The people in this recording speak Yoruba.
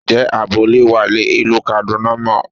Ǹjẹ́ àbọ̀ lè wà ní ìlú Kaduna mọ́?